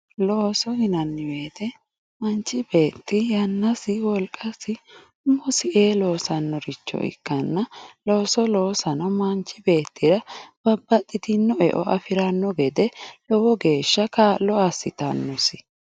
Looso yinanni woyiite manchi beetti yannasi, wolqasi umosi ee loosannoha ikkanna loosano manchi beettira babbaxitinno horo afiranno gede lowo geeshsha kaa'lo assitanno.